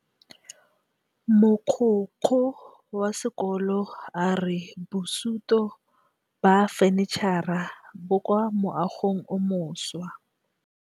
Mogokgo wa sekolo a re bosutô ba fanitšhara bo kwa moagong o mošwa.